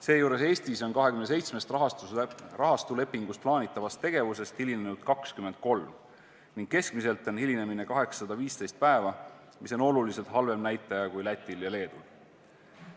Seejuures Eestis on rahastuslepingus plaanitavast 27 tegevusest hilinetud 23 tegevusega ning keskmine hilinemise pikkus on 815 päeva, mis on oluliselt halvem näitaja kui Lätil ja Leedul.